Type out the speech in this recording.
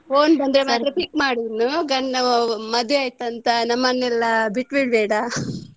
Phone ಬಂದ್ರೆ ಮಾತ್ರ pick ಮಾಡು ಇನ್ನು ನಾವು ಮದುವೆ ಆಯ್ತಂತ ನಮ್ಮನೆಲ್ಲ ಬಿಟ್ಟು ಬಿಡ್ಬೇಡ.